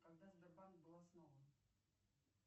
когда сбербанк был основан